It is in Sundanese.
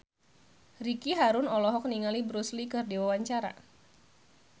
Ricky Harun olohok ningali Bruce Lee keur diwawancara